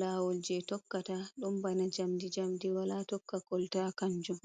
lawol je tokkata dun bana jamdi jamdi wala tokka kolta kanjum.